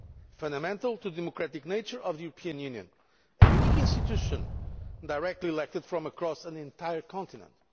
fundamental to the democratic nature of the European Union a unique institution, directly elected from across an entire continent.